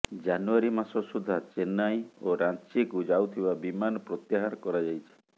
ଜାନୁଆରୀ ମାସ ସୁଦ୍ଧା ଚେନ୍ନାଇ ଓ ରାଞ୍ଚିକୁ ଯାଉଥିବା ବିମାନ ପ୍ରତ୍ୟାହାର କରାଯାଇଛି